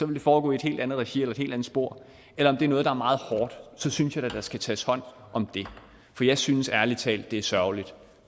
vil foregå i et helt andet regi eller i et helt andet spor eller om det er noget der er meget hårdt så synes jeg da at der skal tages hånd om det for jeg synes ærlig talt at det er sørgeligt